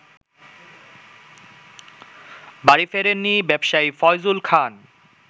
বাড়ি ফেরেননি ব্যবসায়ী ফয়জুল খান